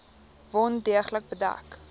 wond deeglik bedek